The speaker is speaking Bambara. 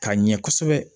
K'a ɲɛ kosɛbɛ